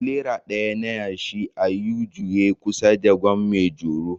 Tirela ɗaya na yashi a U-Juye kusa da Gwan maijoro